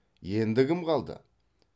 енді кім қалды